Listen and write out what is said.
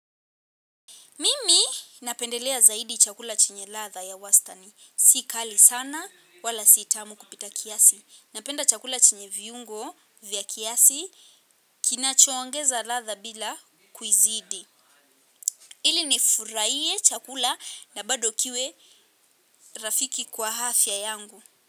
Mimi napendelea zaidi chakula chenye ladha ya wastani. Sikali sana wala sitamu kupita kiasi. Napenda chakula chenye viungo, vya kiasi. Kinacho ongeza ladha bila kuizidi. Ili nifurahie chakula na bado kiwe rafiki kwa afya yangu.